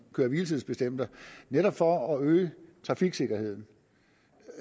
køre hvile tids bestemmelser netop for at øge trafiksikkerheden